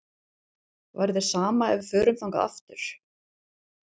Væri þér sama ef við förum þangað aftur?